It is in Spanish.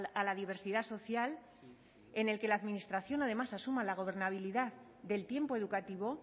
a la diversidad social en el que la administración además asuma la gobernabilidad del tiempo educativo